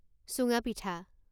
চুঙা পিঠা